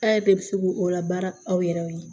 A' yɛrɛ de bɛ se k'o o la baara aw yɛrɛ ye